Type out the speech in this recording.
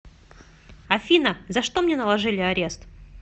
афина за что мне наложили арест